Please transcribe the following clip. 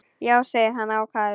Já, segir hann ákafur.